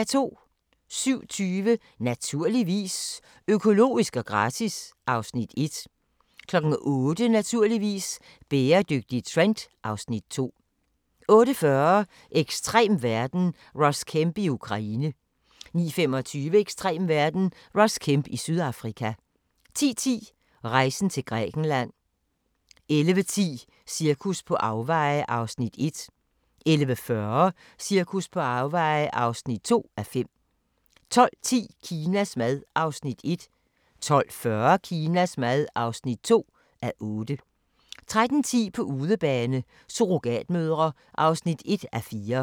07:20: Naturligvis - økologisk og gratis (Afs. 1) 08:00: Naturligvis - bæredygtig trend (Afs. 2) 08:40: Ekstrem verden – Ross Kemp i Ukraine 09:25: Ekstrem verden – Ross Kemp i Sydafrika 10:10: Rejsen til Grækenland 11:10: Cirkus på afveje (1:5) 11:40: Cirkus på afveje (2:5) 12:10: Kinas mad (1:8) 12:40: Kinas mad (2:8) 13:10: På udebane: Surrogatmødre (1:4)